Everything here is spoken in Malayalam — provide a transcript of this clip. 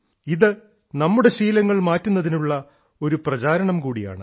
ഇത് നമ്മുടെ ശീലങ്ങൾ മാറ്റുന്നതിനുള്ള ഒരു പ്രചാരണം കൂടിയാണ്